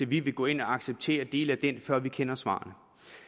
vi vil gå ind og acceptere dele af det før vi kender svarene